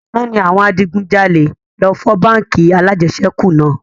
Àná ni àwọn adigun jalè lọ fọ́ báńkì alajẹsẹ́kù náà